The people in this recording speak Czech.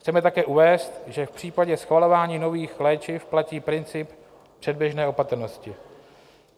Chceme také uvést, že v případě schvalování nových léčiv platí princip předběžné opatrnosti.